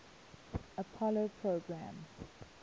apollo program